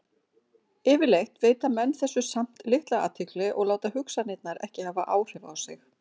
Yfirleitt veita menn þessu samt litla athygli og láta hugsanirnar ekki hafa áhrif á sig.